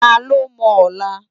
Tá ló mò òlá?